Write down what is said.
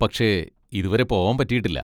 പക്ഷെ ഇതുവരെ പോവാൻ പറ്റിയിട്ടില്ല.